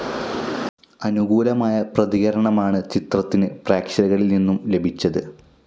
അനുകൂലമായ പ്രതികരണമാണ് ചിത്രത്തിന് പ്രക്ഷകരിൽ നിന്നും ലഭിച്ചത്.